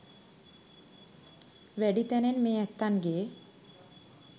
වැඩි තැනෙන් මේ ඇත්තන්ගේ